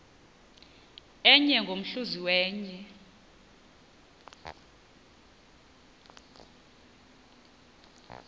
enye ngomhluzi wenye